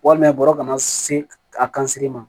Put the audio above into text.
Walima bɔrɔ ka na se a kan siri ma